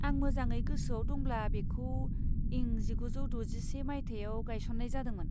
आं मोजाङै गोसोआव दंब्ला बेखौ इं जिगुजौ द'जिसे माइथायाव गायसन्नाय जादोंमोन।